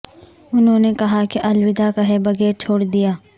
انہوں نے کہا کہ الوداع کہے بغیر چھوڑ دیا